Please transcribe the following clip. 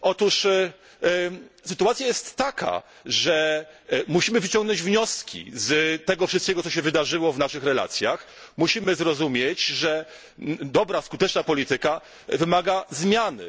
Otóż sytuacja jest taka, że musimy wyciągnąć wnioski z tego wszystkiego, co wydarzyło się w naszych relacjach, musimy zrozumieć, że dobra i skuteczna polityka wymaga zmiany.